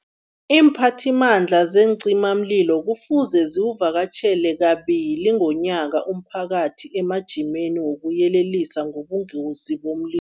Iimphathimandla zeencimamlilo kufuze ziwuvakatjhele kabili ngonyaka umphakathi emajimeni wokuyelelisa ngobungozi